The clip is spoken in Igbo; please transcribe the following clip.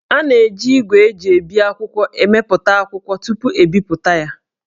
A na-eji ígwè e ji ebi akwụkwọ emepụta akwụkwọ tupu,e bipụta ya